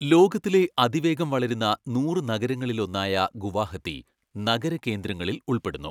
ലോകത്തിലെ അതിവേഗം വളരുന്ന നൂറ് നഗരങ്ങളിൽ ഒന്നായ ഗുവാഹത്തി, നഗര കേന്ദ്രങ്ങളിൽ ഉൾപ്പെടുന്നു.